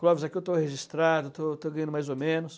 Clóvis, aqui eu estou registrado, estou estou ganhando mais ou menos.